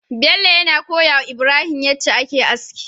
Bello yana koyawa ibrahim yace ake aski